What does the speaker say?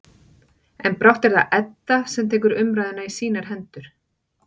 En brátt er það Edda sem tekur umræðuna í sínar hendur.